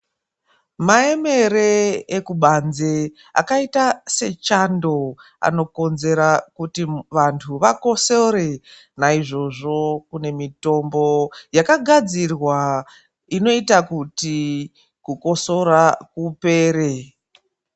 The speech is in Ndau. Maemere ekubanze akaita sechando, anokonzera kuti vantu vakosore. Naizvozvo kune mitombo yakagadzirwa inoita kuti kukosora kupera.